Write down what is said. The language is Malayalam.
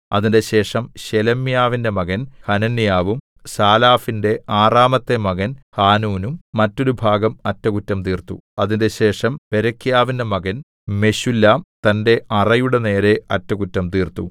അതിന്‍റെശേഷം ശേലെമ്യാവിന്റെ മകൻ ഹനന്യാവും സാലാഫിന്റെ ആറാമത്തെ മകൻ ഹാനൂനും മറ്റൊരുഭാഗം അറ്റകുറ്റം തീർത്തു അതിന്‍റെശേഷം ബേരെഖ്യാവിന്റെ മകൻ മെശുല്ലാം തന്റെ അറയുടെ നേരെ അറ്റകുറ്റം തീർത്തു